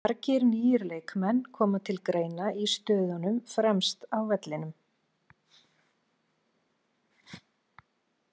Margir nýir leikmenn koma til greina í stöðunum fremst á vellinum.